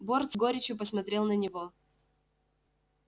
борт с горечью посмотрел на него